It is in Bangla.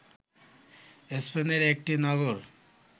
স্পেনের একটি নগর